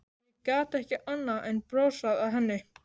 Ég gat ekki annað en brosað að henni.